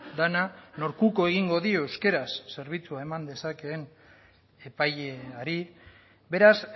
dena nork uko egingo dio euskaraz zerbitzua eman dezakeen epaileari beraz